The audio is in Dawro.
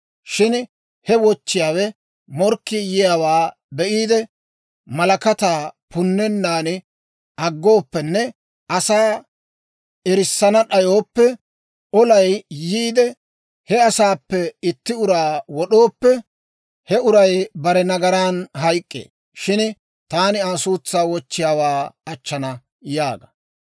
Shin he wochchiyaawe morkkii yiyaawaa be'iide, malakataa punnennan aggooppenne asaa erissana d'ayooppe, olaykka yiide, he asaappe itti uraa wod'ooppe, he uray bare nagaran hayk'k'ee; shin taani Aa suutsaa wochchiyaawaa achchana› yaaga.